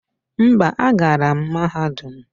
Mba, agara m mahadum.